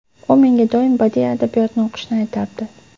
U menga doim badiiy adabiyotni o‘qishni aytardi.